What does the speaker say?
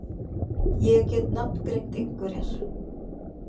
Ég get nafngreint einhverjar.